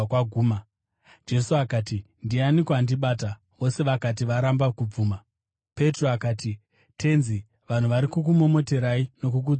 Jesu akati, “Ndianiko andibata?” Vose vakati varamba kubvuma, Petro akati, “Tenzi, vanhu vari kukumomoterai nokukutsimbirirai.”